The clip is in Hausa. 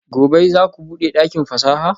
Gobe ​​zaku bude dakin fasaha?